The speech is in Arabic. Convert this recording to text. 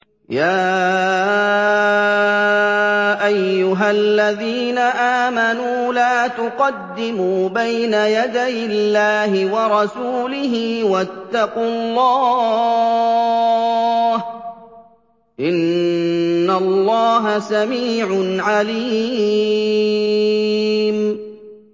يَا أَيُّهَا الَّذِينَ آمَنُوا لَا تُقَدِّمُوا بَيْنَ يَدَيِ اللَّهِ وَرَسُولِهِ ۖ وَاتَّقُوا اللَّهَ ۚ إِنَّ اللَّهَ سَمِيعٌ عَلِيمٌ